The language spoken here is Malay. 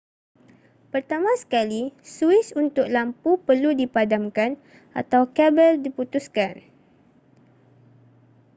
pertama sekali suis untuk lampu perlu dipadamkan atau kabel diputuskan